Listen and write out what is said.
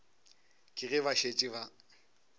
ke ge ba šetše ba